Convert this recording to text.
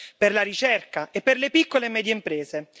per la ricerca e per le piccole e medie imprese.